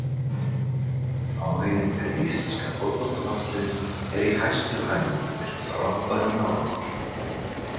Áhuginn fyrir íslenska fótboltalandsliðinu er í hæstu hæðum eftir frábæran árangur.